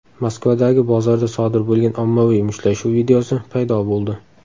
Moskvadagi bozorda sodir bo‘lgan ommaviy mushtlashuv videosi paydo bo‘ldi.